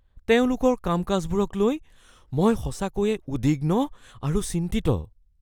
তেওঁলোকৰ কাম-কাজবোৰক লৈ মই সঁচাকৈয়ে উদ্বিগ্ন আৰু চিন্তিত।